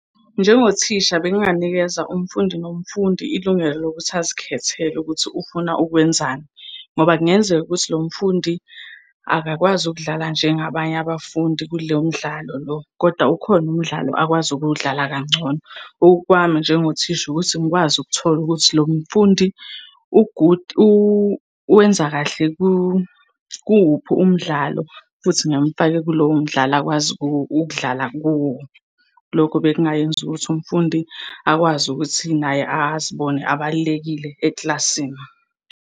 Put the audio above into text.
Njengothisha benginganikeza umfundi nomfundi ilungelo lokuthi azikhethele ukuthi ufuna ukwenzani ngoba kungenzeka ukuthi lo mfundi akakwazi ukudlala njengabanye abafundi kulo mdlalo lo, koda ukhona umdlalo akwazi ukuwudlala kangcono. Okwami njengothisha ukuthi ngikwazi ukuthola ukuthi lo mfundi u-good, uwenza kahle kuwuphi umdlalo, futhi ngimfake kulowo mdlalo akwazi ukudlala kuwo. Lokho bekungayenza ukuthi umfundi akwazi ukuthi naye azibone abalulekile eklasini.